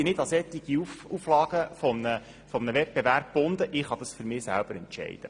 Aber ich bin nicht an die Auflagen eines Wettbewerbs gebunden und kann es für mich selber entscheiden.